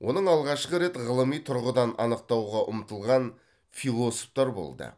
оның алғашқы рет ғылыми тұрғыдан анықтауға ұмтылған философтар болды